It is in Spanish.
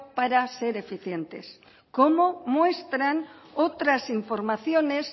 para ser eficientes como muestran otras informaciones